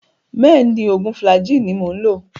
Bẹ́ẹ̀ni, oògùn Flagyl ni mo ń lò